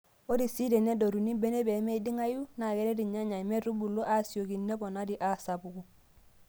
Ore sii tenedotuni mbenek pee meiding'ayu, naa keret irnyanya metubulu aasiyioki neponari aasapuku.